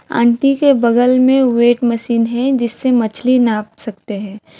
Aunty के बगल में वेट मशीन है जिससे मछली नाप सकते है।